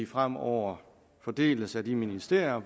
fremover fordeles af de ministerier